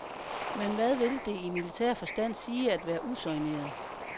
Men hvad vil det i militær forstand sige at være usoigneret?